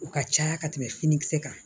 O ka caya ka tɛmɛ finikisɛ kan